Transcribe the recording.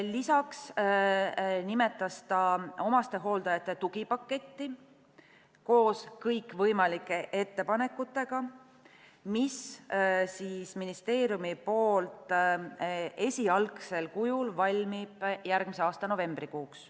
Lisaks nimetas ta omastehooldajate tugipaketti koos kõikvõimalike ettepanekutega, mis valmib ministeeriumis esialgsel kujul järgmise aasta novembrikuuks.